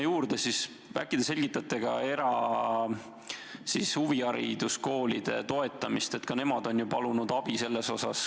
Ja äkki te selgitate ka erahuvihariduskoolide toetamist, sest ka nemad on ju abi palunud.